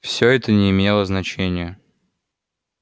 всё это не имело значения